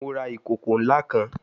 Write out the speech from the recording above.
Mo ra ikoko nla kan